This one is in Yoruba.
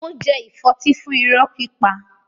Ó jẹ ìfọ́tí fún irọ́ pípa.